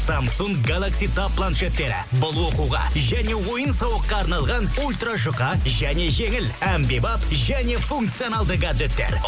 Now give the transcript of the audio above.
самсунг галакси таб планшеттері бұл оқуға және ойын сауыққа арналған ультражұқа және жеңіл әмбебап және функционалды гаджеттер